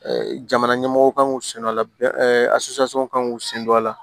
jamana ɲɛmɔgɔw kan k'u sen don a la a kan k'u sen don a la